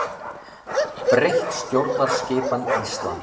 Breytt stjórnskipan Íslands